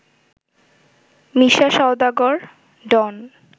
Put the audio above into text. মিশা Sawdagar, ডন